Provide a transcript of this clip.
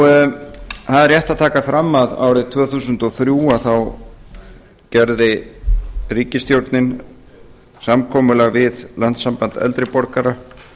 það er rétt að taka fram að árið tvö þúsund og þrjú gerði ríkisstjórnin samkomulag við landssamband eldri borgara